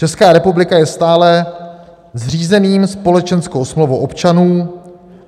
Česká republika je stále zřízením, společenskou smlouvou občanů.